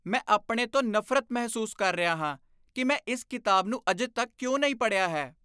ਮੈਂ ਆਪਣੇ ਤੋਂ ਨਫ਼ਰਤ ਮਹਿਸੂਸ ਕਰ ਰਿਹਾ ਹਾਂ ਕਿ ਮੈਂ ਇਸ ਕਿਤਾਬ ਨੂੰ ਅਜੇ ਤੱਕ ਕਿਉਂ ਨਹੀਂ ਪੜ੍ਹਿਆ ਹੈ।